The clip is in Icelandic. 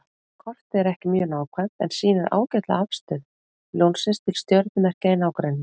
Kortið er ekki mjög nákvæmt en sýnir ágætlega afstöðu Ljónsins til stjörnumerkja í nágrenninu.